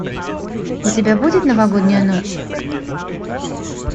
у тебя будет новогодняя ночь